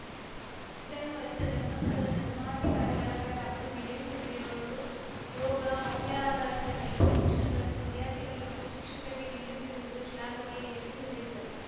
ಇದನ್ನು ಅರಿತ ಧರ್ಮಸ್ಥಳದ ಧರ್ಮಾಧಿಕಾರಿಗಳಾದ ಡಾಕ್ಟರ್ವೀರೇಂದ್ರ ಹೆಗ್ಗಡೆಯವರು ಯೋಗ ಮೌಲ್ಯಧಾರಿತ ನೈತಿಕ ಶಿಕ್ಷಗಳನ್ನು ವಿದ್ಯಾರ್ಥಿಗಳಿಗೆ ಮತ್ತು ಶಿಕ್ಷಕರಿಗೆ ನೀಡುತ್ತಿರುವುದು ಶ್ಲಾಘನೀಯ ಎಂದು ಹೇಳಿದರು